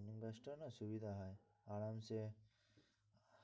morning batch টায় না সুবিধা হয়, আরামসে